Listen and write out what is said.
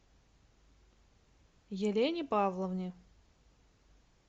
елене павловне